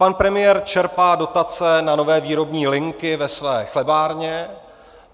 Pan premiér čerpá dotace na nové výrobní linky ve své chlebárně.